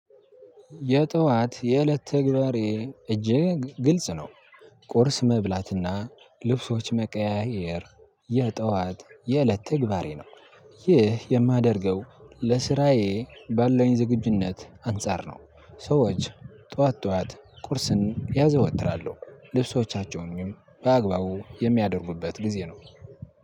የጠዋት የእለት ተግባሬ እጅግ ግልጽ ነው። ቁርስ መብላት እና ልብሶች መቀያየር የጥዋት የእለት ተግባሬ ነው። ይህ የማደርገው ለስራዩ ባለኝ ዝግጁነት አንፃር ነው። ሰዎች ጠዋት ጠዋት ቁርስን ያዘወትራሉ ልብሶቻቸው በአግባቡ የሚያደርጉበት ጊዜ ነው።